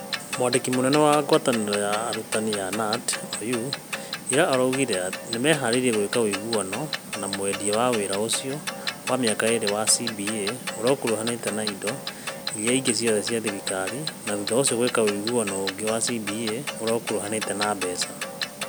Mwandiki munene wa ngwataniro ya arutani ya Knut, Oyuu, ira ira augire nimehariirie gwika wuiguano na mwendia wa wira ucio wa miaka iiri wa CBA uria ukuruhanite na indo iria ingi ciothe cia thirikari na thutha ucio gwika wuiguano ungi wa CBA uria ukuruhanite na mbeca.